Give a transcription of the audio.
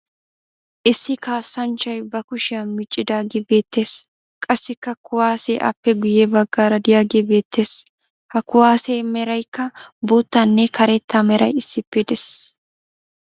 Issi kaassanchchay ba kushiya miccidaagee beettes. Qassikka kuwaase aappe guyye baggaara diyagee beettes. Ha kuwaasiya merayikka boottanne karetta meray issippe des.